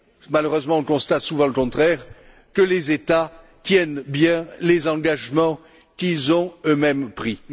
malheureusement, on constate souvent le contraire que les États tiennent bien les engagements qu'ils ont eux mêmes pris.